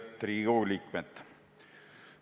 Lugupeetud Riigikogu liikmed!